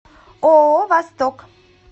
ооо восток